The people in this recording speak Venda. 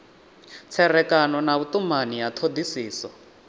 tserekano na vhutumani ya thodisiso